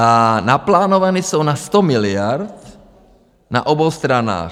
A naplánovány jsou na 100 miliard na obou stranách.